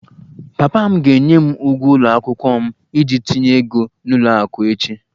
Papa m ga-enye m ụgwọ ụlọ akwụkwọ m iji tinye ego n'ụlọ akụ echi